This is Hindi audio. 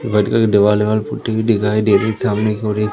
व्हाइट कलर के देवाल वाल पु हुई दिखाई दे रही सामने की ओर एक--